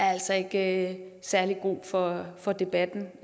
altså ikke er særlig god for for debatten